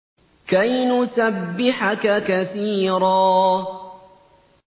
كَيْ نُسَبِّحَكَ كَثِيرًا